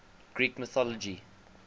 greek mythology